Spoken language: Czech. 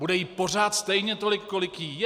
Bude jí pořád stejně tolik, kolik jí je.